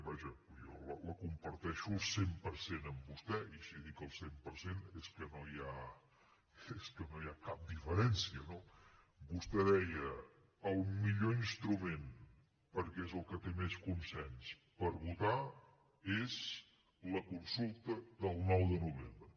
vaja jo la comparteixo al cent per cent amb vostè i si dic al cent per cent és que no hi ha cap diferència no vostè deia el millor instrument perquè és el que té més consens per votar és la consulta del nou de novembre